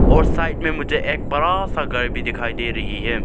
और साइड मे मुझे एक बड़ा सा घर भी दिखाई दे रही है।